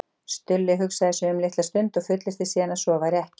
Stulli hugsaði sig um litla stund og fullyrti síðan að svo væri ekki.